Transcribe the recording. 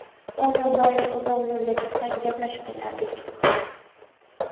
O‘zi doim uzoq yo‘lga chiqsak, gaplashib ketardik.